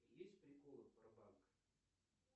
есть приколы про банк